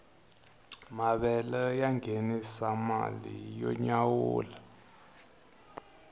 mavele ya ngenisa mali yo nyawula